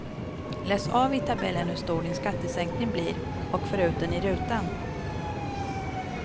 Läs av i tabellen hur stor din skattesänkning blir och för ut den i rutan.